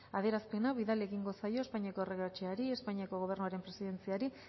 adierazpena bidali egingo zaio espainiako erregeordetzari espainiako gobernuaren presidentziari